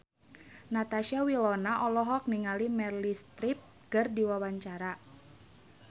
Natasha Wilona olohok ningali Meryl Streep keur diwawancara